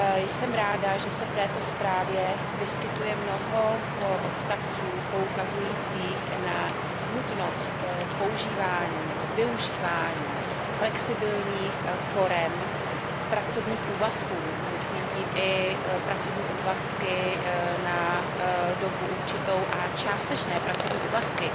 Jsem ráda, že se v této zprávě vyskytuje mnoho bodů poukazujících na nutnost využívání flexibilních forem pracovních úvazků, myslím tím i pracovní úvazky na dobu určitou a částečné pracovní úvazky,